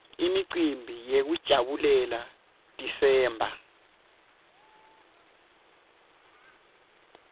imicimbi yekujabulela desember